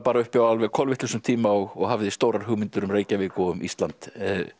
uppi á kolvitlausum tíma og hafði stórar hugmyndir um Reykjavík og um Ísland